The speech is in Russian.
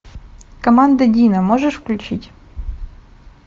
команда дино можешь включить